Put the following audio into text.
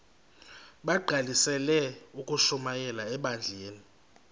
bagqalisele ukushumayela ebandleni